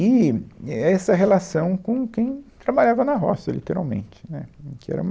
E éh, essa relação com quem trabalhava na roça, literalmente, né, o que era...